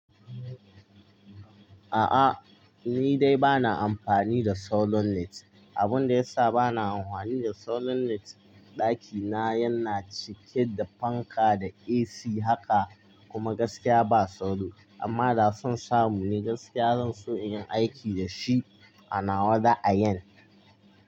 A'a, ni dai ba na amfani da solonet. Abun da yassa ba na amhwani da solar net, ɗaki na yana cike da fanka da AC haka, kuma gaskiya ba solar. Amma da sun samu ni gaskiya zan so in yi aiki da shi anawa, da'a yin,